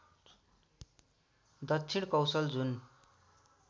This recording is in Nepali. दक्षिण कौशल जुन